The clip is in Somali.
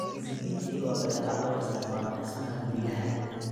Kizibiti waa badeecad loo isticmaalo dhismaha guryaha.